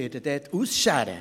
Ich werde ausscheren.